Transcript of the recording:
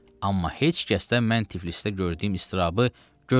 Amma heç kəsdən mən Tiflisdə gördüyüm istirabı görmürdüm.